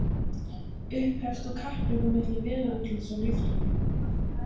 Upphefst nú kapphlaup á milli veðurútlits og líftóru.